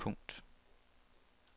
punkt